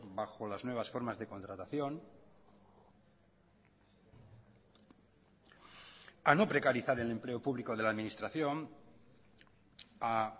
bajo las nuevas formas de contratación a no precarizar el empleo público de la administración a